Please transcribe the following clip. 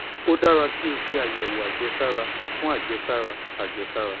ó dára kí o ṣe àyẹ̀wò àjẹsára fún àjẹsára àjẹsára